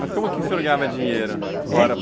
Mas como que o senhor ganhava dinheiro? heim?